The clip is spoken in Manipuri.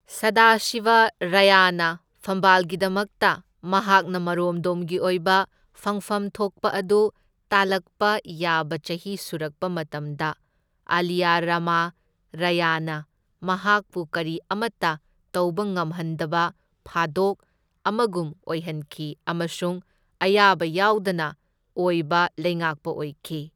ꯁꯗꯥꯁꯤꯕ ꯔꯥꯌꯥꯅ ꯐꯝꯕꯥꯜꯒꯤꯗꯃꯛꯇ ꯃꯍꯥꯛꯅ ꯃꯔꯣꯝꯗꯣꯝꯒꯤ ꯑꯣꯏꯕ ꯐꯪꯐꯝ ꯊꯣꯛꯄ ꯑꯗꯨ ꯇꯥꯂꯛꯄ ꯌꯥꯕ ꯆꯍꯤ ꯁꯨꯔꯛꯄ ꯃꯇꯝꯗ ꯑꯥꯂꯤꯌꯥ ꯔꯥꯃꯥ ꯔꯥꯌꯥꯅ ꯃꯍꯥꯛꯄꯨ ꯀꯔꯤ ꯑꯃꯇ ꯇꯧꯕ ꯉꯝꯍꯟꯗꯕ ꯐꯥꯗꯣꯛ ꯑꯃꯒꯨꯝ ꯑꯣꯏꯍꯟꯈꯤ ꯑꯃꯁꯨꯡ ꯑꯌꯥꯕ ꯌꯥꯎꯗꯅ ꯑꯣꯏꯕ ꯂꯩꯉꯥꯛꯄ ꯑꯣꯏꯈꯤ꯫